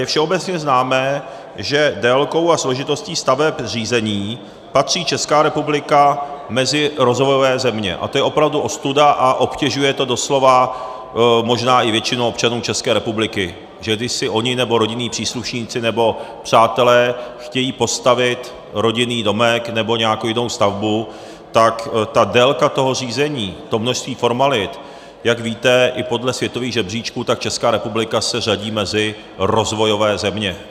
Je všeobecně známé, že délkou a složitostí stavebních řízení patří Česká republika mezi rozvojové země, a to je opravdu ostuda a obtěžuje to doslova možná i většinu občanů České republiky, že když si oni nebo rodinní příslušníci nebo přátelé chtějí postavit rodinný domek nebo nějakou jinou stavbu, tak ta délka toho řízení, to množství formalit, jak víte, i podle světových žebříčků, tak Česká republika se řadí mezi rozvojové země.